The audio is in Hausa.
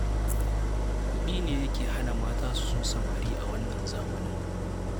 Kuɗi ne yake hana mata su so samari a wannan zamanin